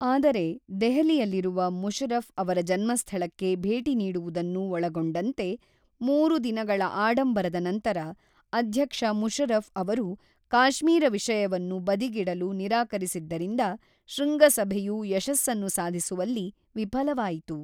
ಆದರೆ ದೆಹಲಿಯಲ್ಲಿರುವ ಮುಷರಫ್ ಅವರ ಜನ್ಮಸ್ಥಳಕ್ಕೆ ಭೇಟಿ ನೀಡುವುದನ್ನು ಒಳಗೊಂಡಂತೆ ಮೂರು ದಿನಗಳ ಆಡಂಬರದ ನಂತರ, ಅಧ್ಯಕ್ಷ ಮುಷರಫ್ ಅವರು ಕಾಶ್ಮೀರ ವಿಷಯವನ್ನು ಬದಿಗಿಡಲು ನಿರಾಕರಿಸಿದ್ದರಿಂದ ಶೃಂಗಸಭೆಯು ಯಶಸ್ಸನ್ನು ಸಾಧಿಸುವಲ್ಲಿ ವಿಫಲವಾಯಿತು.